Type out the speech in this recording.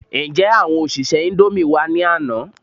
Ǹjé àwọn òṣìṣẹ́ indomie wá ní àná?